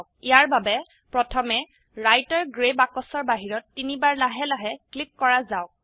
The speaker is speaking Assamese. ইয়াৰ বাবে প্ৰথমে ৰাইটাৰ গ্ৰে বাক্সৰ বাহিৰত তিনিবাৰ লাহে লাহে ক্লিক কৰা যাওক